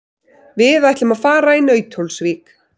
Við ætlum að fara í Nauthólsvík.